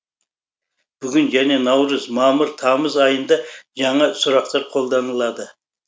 бүгін және наурыз мамыр тамыз айында жаңа сұрақтар қолданылады